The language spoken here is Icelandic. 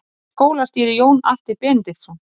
Hvaða skóla stýrir Jón Atli Benediktsson?